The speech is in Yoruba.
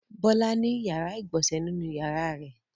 Bọ́lá ní ìyàrá-ìgbọ̀nsẹ̀ nínú ìyàrá rẹ̀.